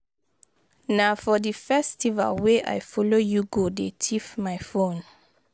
Na for the festival wey I follow you go dey thief my phone